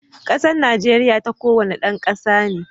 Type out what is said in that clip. Kasan Najeriya ta kowane dan kasa ne.